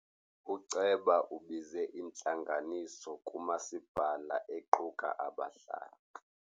Uceba ubize intlanganiso kamasipala equka abahlali.